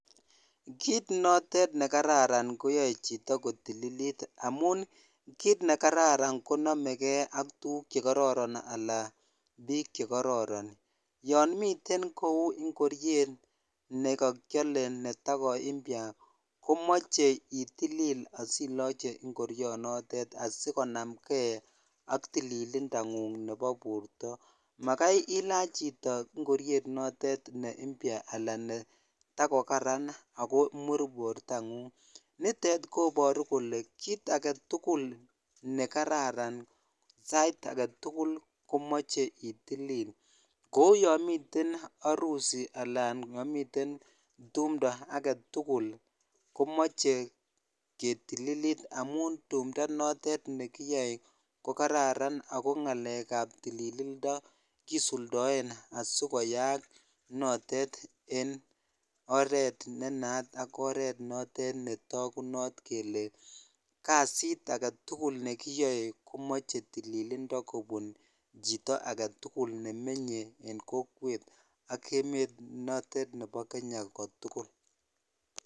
Kiit noton ne kararan koyoe chito ko tililit amun kiit nekararan ko nomekee ak tukuk chekororon alaan biik chekororon, yoon miten kouu ing'oriet nekokiole netakompya komoche itilil asiloche ing'orionotet asikonamng'e ak tililindang'ung nebo borto, makai ilach chito ing'oriet notet ne mpya alaa ne takokaran ak komur ng'ung, nitet koboru kolee kiit aketukul nekararan sait aketukil komoche itilil kouu yon miten harusi alaa yon miten tumndo aketukul komoche ketililit amun tumndo notet nekiyoe ko kararan ak ko ng'alekab tililindo kisuldoen asikoyaak notet en oreet ne nayat ak oreet notet netokunot kelee kasit aketukul nekiyoe komoche tililindo kobun chito aketukul nemenye en kokwet ak emet notet nebo Kenya kotukul.